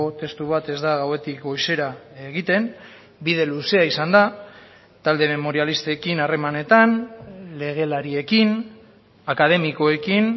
testu bat ez da gauetik goizera egiten bide luzea izan da talde memorialistekin harremanetan legelariekin akademikoekin